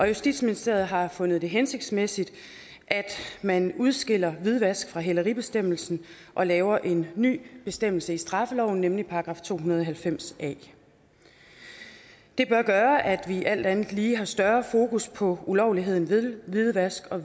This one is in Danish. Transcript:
justitsministeriet har fundet det hensigtsmæssigt at man udskiller hvidvask fra hæleribestemmelsen og laver en ny bestemmelse i straffeloven nemlig § to hundrede og halvfems a det bør gøre at vi alt andet lige har større fokus på ulovligheden af hvidvask og